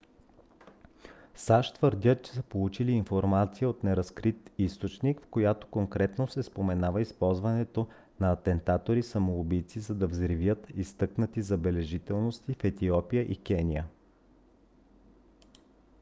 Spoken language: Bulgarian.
сащ твърдят че са получили информация от неразкрит източник в която конкретно се споменава използването на атентатори самоубийци за да взривят изтъкнати забележителности в етиопия и кения